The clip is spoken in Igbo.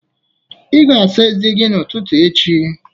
Ị ga-asa ezé gị n'ụtụtụ echi